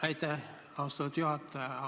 Aitäh, austatud juhataja!